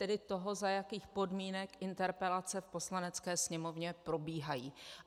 Tedy toho, za jakých podmínek interpelace v Poslanecké sněmovně probíhají.